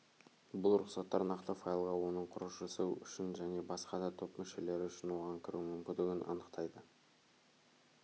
бұл рұқсаттар нақты файлға оның құрушысы үшін және басқа да топ мүшелері үшін оған кіру мүмкіндігін анықтайды